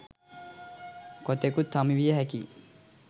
කොතෙකුත් හමු විය හැකියි.